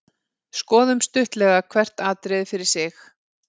Skoðum stuttlega hvert atriði fyrir sig.